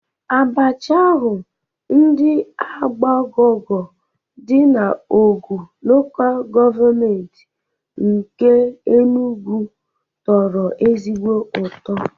Abacha ahụ ndị Agbogogu dị na Ọgwu Lokal Gọọmenti nke Enugwu tọrọ ezigbo ụtọ